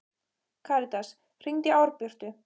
Karitas, hringdu í Árbjörtu.